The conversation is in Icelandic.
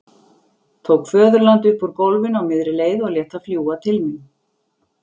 Tók föðurlandið upp úr gólfinu á miðri leið og lét það fljúga til mín.